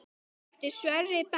Eftir Sverri Berg.